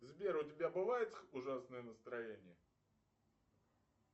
сбер у тебя бывает ужасное настроение